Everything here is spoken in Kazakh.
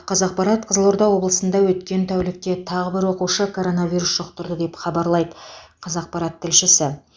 қазақпарат қызылорда облысында өткен тәулікте тағы бір оқушы коронавирус жұқтырды деп хабарлайды қазақпарат тілшісі